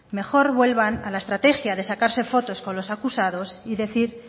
mejor vuelvan a la estrategia de sacarse fotos con los acusados y decir